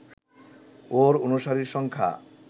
ওর অনুসারীর সংখ্যা